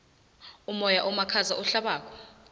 umoya omakhaza ohlabako